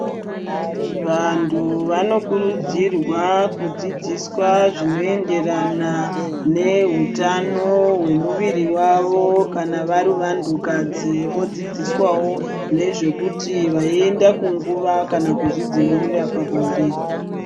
Vantu vanokurudzirwa kudzidziswa zvinoenderana nehutano hwemuviri wavo kana vari vantu kadzi vodzidziswawo nezvekuti veienda kunguva kana kuzvidzivirira pabonde.